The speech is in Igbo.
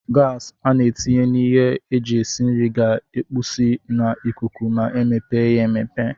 gas ana etinye na ihe eji esi nri ga ekupusi na ikuku ma emepe ya emepe.